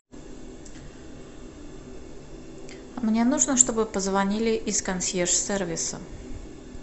мне нужно чтобы позвонили из консьерж сервиса